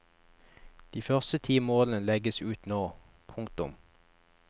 De første ti målene legges ut nå. punktum